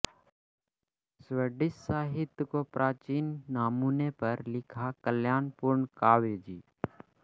Swedish साहित्य को प्राचीन नमूने पर लिखा कलापूर्ण काव्य जी